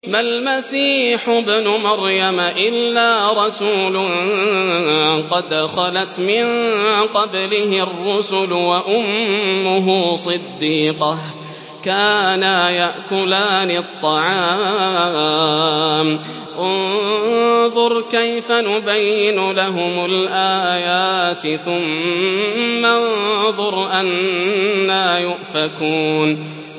مَّا الْمَسِيحُ ابْنُ مَرْيَمَ إِلَّا رَسُولٌ قَدْ خَلَتْ مِن قَبْلِهِ الرُّسُلُ وَأُمُّهُ صِدِّيقَةٌ ۖ كَانَا يَأْكُلَانِ الطَّعَامَ ۗ انظُرْ كَيْفَ نُبَيِّنُ لَهُمُ الْآيَاتِ ثُمَّ انظُرْ أَنَّىٰ يُؤْفَكُونَ